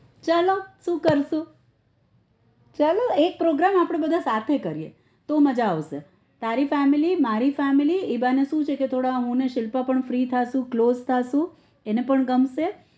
ચાલો સુ કરશું ચાલો એક program આપડે બધા સાથે કરીએ તો મજા આવશે તારી family મારી family એ બાને શું છે કે થોડા હું અને શિલ્પા પણ free થાસુ close થાસુ એને પણ ગમશે